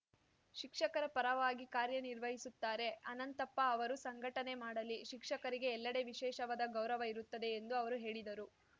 ಶಿಕ್ಷಕರ ಪರವಾಗಿ ಕಾರ್ಯನಿರ್ವಹಿಸುತ್ತಾರೆ ಅನಂತಪ್ಪ ಅವರು ಸಂಘಟನೆ ಮಾಡಲಿ ಶಿಕ್ಷಕರಿಗೆ ಎಲ್ಲಡೆ ವಿಶೇಷವಾದ ಗೌರವ ಇರುತ್ತದೆ ಎಂದು ಅವರು ಹೇಳಿದರು